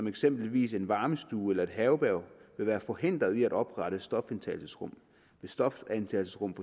eksempelvis en varmestue eller et herberg vil være forhindret i at oprette stofindtagelsesrum hvis stofindtagelsesrummet